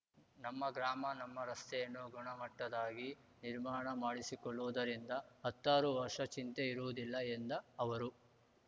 ನಮ್ಮ ಗ್ರಾಮ ನಮ್ಮ ರಸ್ತೆಯನ್ನು ಗುಣಮಟ್ಟದ್ದಾಗಿ ನಿರ್ಮಾಣ ಮಾಡಿಸಿಕೊಳ್ಳುವುದರಿಂದ ಹತ್ತಾರು ವರ್ಷ ಚಿಂತೆ ಇರುವುದಿಲ್ಲ ಎಂದ ಅವರು